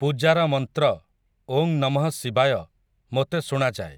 ପୂଜାର ମନ୍ତ୍ର, 'ଓଁ ନମଃ ଶିବାୟ', ମୋତେ ଶୁଣାଯାଏ ।